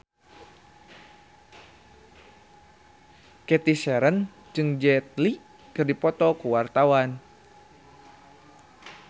Cathy Sharon jeung Jet Li keur dipoto ku wartawan